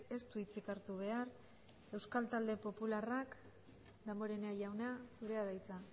ez du hitzik hartu behar euskal talde popularrak damborenea jauna zurea da hitza